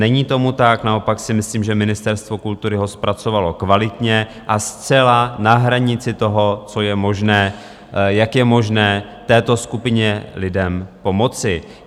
Není tomu tak, naopak si myslím, že Ministerstvo kultury ho zpracovalo kvalitně a zcela na hranici toho, co je možné, jak je možné této skupině lidem pomoci.